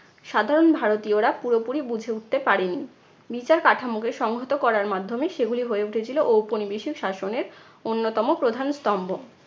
সাধারণ ভারতীয়রা পুরোপুরি বুঝে উঠতে পারেনি। বিচার কাঠামোকে সংহত করার মাধ্যমে সেগুলি হয়ে উঠেছিলো ঔপনিবেশিক শাসনের অন্যতম প্রধান স্তম্ভ।